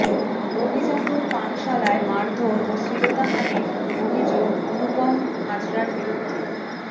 অভিজাত পানশালায় মারধর ও শ্লীলতাহানীর অভিযোগ অনুপম হাজরার বিরুদ্ধে